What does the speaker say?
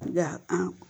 Nka an